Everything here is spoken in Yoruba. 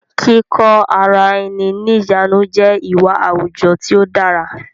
Kíkó ara ẹni ní ìjánu jẹ́ ìwà àwùjọ tí ó dára